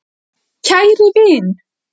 Kæri vin!